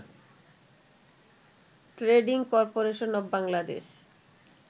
trading corporation of Bangladesh